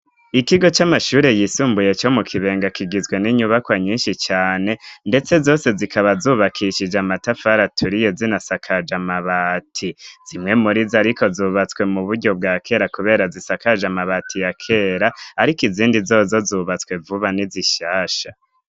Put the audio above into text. Ikigo c'amashure yisumbuye co mu kibenga kigizwe n'inyubakwa nyinshi cane, ndetse zose zikaba zubakishije amatafaraturiye zinasakaje amabati zimwe muri zi, ariko zubatswe mu buryo bwa kera, kubera zisakaje amabati ya kera, ariko izindi zozozubatswe vuba ni zishasha.